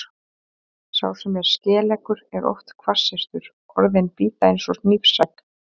Sá sem er skeleggur er oft hvassyrtur, orðin bíta eins og hnífsegg.